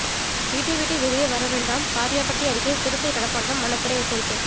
வீட்டை விட்டு வெளியே வரவேண்டாம் காரியாபட்டி அருகே சிறுத்தை நடமாட்டம் வனத்துறை எச்சரிக்கை